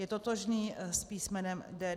Je totožný s písmenem D12.